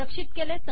रक्षित केले